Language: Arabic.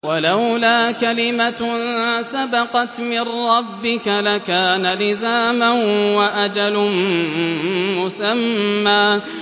وَلَوْلَا كَلِمَةٌ سَبَقَتْ مِن رَّبِّكَ لَكَانَ لِزَامًا وَأَجَلٌ مُّسَمًّى